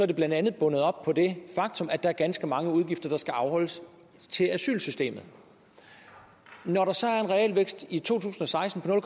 det blandt andet bundet op på det faktum at der er ganske mange udgifter der skal afholdes til asylsystemet når der så er en realvækst i to tusind og seksten på